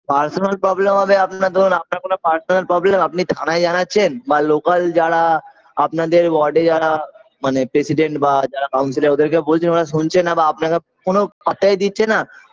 Personal problem হবে আপনার ধরুন আপনার কোন personal problem আপনি থানায় জানাচ্ছেন বা local যারা আপনাদের ward -এ যারা মানে president বা যারা counselor ওদেরকে বলছেন ওরা শুনছে না বা আপনাকে কোন পাত্তাই দিচ্ছে না